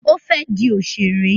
Ó fẹ́ di òṣèré.